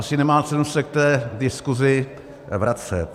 Asi nemá cenu se k té diskusi vracet.